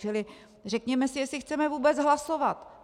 Čili řekněme si, jestli chceme vůbec hlasovat.